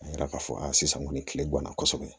A yira k'a fɔ a sisan kɔni kilebana kosɛbɛ